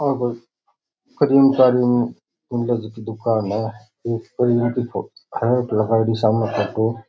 आ कोई दुकान है --